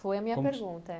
Foi a minha pergunta.